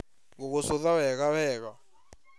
Ngũgũcũtha wega wega